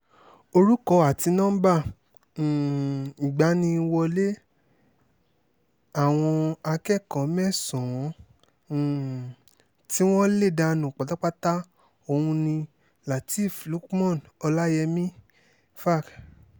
orúkọ àti nọ́ńbà um ìgbaniwọlẹ̀ àwọn akẹ́kọ̀ọ́ mẹ́sàn-án um tí wọ́n lè danú pátápátá ọ̀hún ni lateref lukman ọláyẹ́mí fac